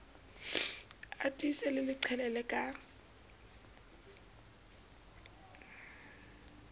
a tiise le qhelele ka